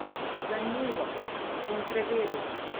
Zanimivo, bom preveril.